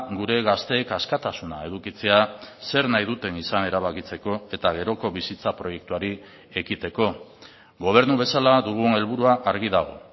gure gazteek askatasuna edukitzea zer nahi duten izan erabakitzeko eta geroko bizitza proiektuari ekiteko gobernu bezala dugun helburua argi dago